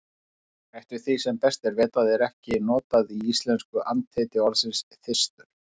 Eftir því sem best er vitað er ekki notað í íslensku andheiti orðsins þyrstur.